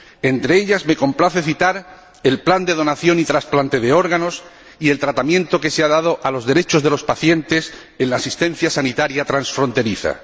Entre ellas, me complace citar el plan de donación y trasplante de órganos y el tratamiento que se ha dado a los derechos de los pacientes en la asistencia sanitaria transfronteriza.